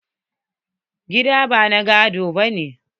Gida na ba gado bane.